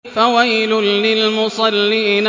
فَوَيْلٌ لِّلْمُصَلِّينَ